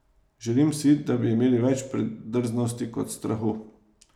Želim si, da bi imeli več predrznosti kot strahu.